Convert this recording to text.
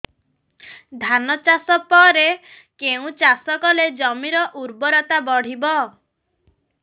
ଧାନ ଚାଷ ପରେ କେଉଁ ଚାଷ କଲେ ଜମିର ଉର୍ବରତା ବଢିବ